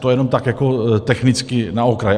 To jenom tak jako technicky na okraj.